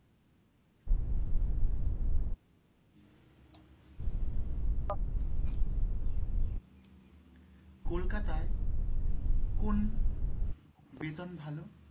কলকাতায় কোন বেতন ভালো?